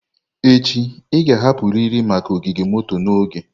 Echi, ị ga-ahapụrịrị maka ogige moto n'oge.